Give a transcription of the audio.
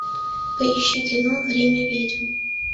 поищи кино время ведьм